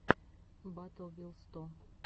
батл вил сто